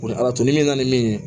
Ni ala to ni min na ni min ye